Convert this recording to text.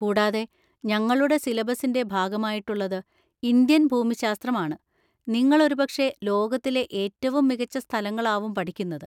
കൂടാതെ, ഞങ്ങളുടെ സിലബസിന്‍റെ ഭാഗമായിട്ടുള്ളത്‌ ഇന്ത്യൻ ഭൂമിശാസ്ത്രം ആണ്, നിങ്ങൾ ഒരുപക്ഷേ ലോകത്തിലെ ഏറ്റവും മികച്ച സ്ഥലങ്ങളാവും പഠിക്കുന്നത്!